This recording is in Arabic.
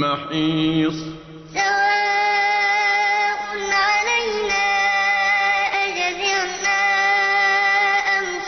مَّحِيصٍ وَبَرَزُوا لِلَّهِ جَمِيعًا